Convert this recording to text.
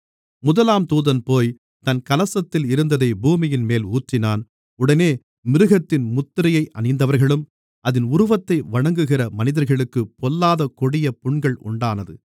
முதலாம் தூதன் போய் தன் கலசத்தில் இருந்ததை பூமியின்மேல் ஊற்றினான் உடனே மிருகத்தின் முத்திரையை அணிந்தவர்களும் அதின் உருவத்தை வணங்குகிற மனிதர்களுக்குப் பொல்லாத கொடிய புண்கள் உண்டானது